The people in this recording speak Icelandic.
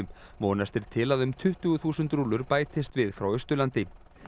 vonast er til að um tuttugu þúsund rúllur bætist við frá Austurlandi